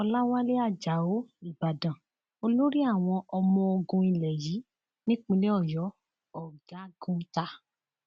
ọlàwálẹ ajáò ìbàdàn olórí àwọn ọmọọgùn ilé yìí nípìnlẹ ọyọ ọgágun ta